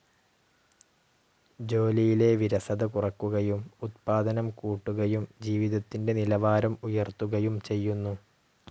ജോലിയിലെ വിരസത കുറക്കുകയും ഉദ്പാദനം കൂട്ടുകയും ജീവിതത്തിന്റെ നിലവാരം ഉയർത്തുകയും ചെയ്യുന്നു.